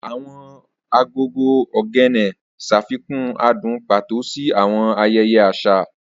Awọn agogo Ogene ṣafikun adun pato si awọn ayẹyẹ aṣa.